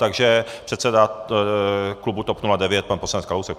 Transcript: Takže předseda klubu TOP 09 pan poslanec Kalousek.